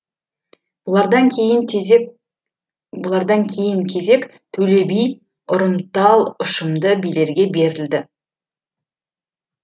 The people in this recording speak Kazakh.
бұлардан кейін бұлардан кейін кезек төле би ұрымтал ұшымды билерге берілді